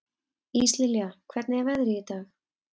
Íslilja, hvernig er veðrið í dag?